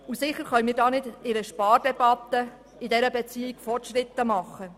Sicher können wir diesbezüglich nicht innerhalb einer Spardebatte Fortschritte machen.